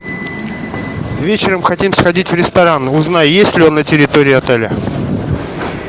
вечером хотим сходить в ресторан узнай есть ли он на территории отеля